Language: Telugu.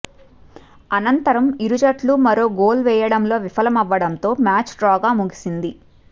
అనంతరం ఇరు జట్లు మరో గోల్ వేయడంలో విఫలమవ్వడంతో మ్యాచ్ డ్రాగా ముగిసింది